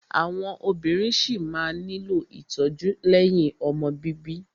Àwọn obìnrin ṣí máa nílò ìtọ́jú lẹ́yìn ọmọ bíbí.